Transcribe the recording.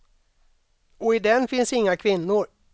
Och i den finns inga kvinnor.